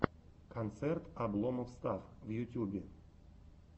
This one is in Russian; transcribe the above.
концерт обломов стафф в ютюбе